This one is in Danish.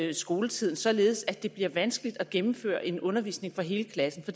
i skoletiden således at det bliver vanskeligt at gennemføre en undervisning for hele klassen for